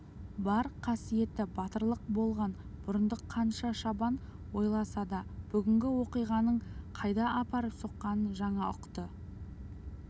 бар қасиеті батырлық болған бұрындық қанша шабан ойласа да бүгінгі оқиғаның қайда апарып соққанын жаңа ұқты